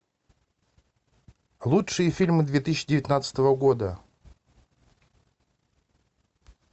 лучшие фильмы две тысячи девятнадцатого года